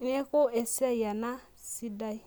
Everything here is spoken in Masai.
neaku esiai enasidai.